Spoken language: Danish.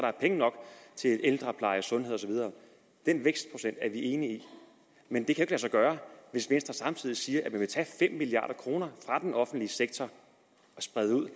er penge nok til ældrepleje sundhed og så videre den vækstprocent er vi enige i men det kan sig gøre hvis venstre samtidig siger at man vil tage fem milliard kroner fra den offentlige sektor og sprede ud